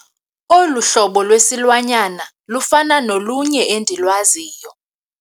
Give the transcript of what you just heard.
Olu hlobo lwesilwanyana lufana nolunye endilwaziyo.